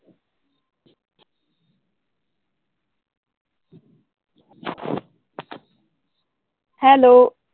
Hello.